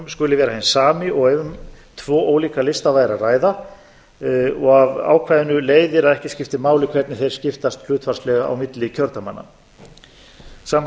skuli vera hinn sami og ef um tvo ólíka lista væri að ræða af ákvæðinu leiðir að ekki skiptir máli hvernig þeir skiptast hlutfallslega milli kjördæmanna samkvæmt þrítugustu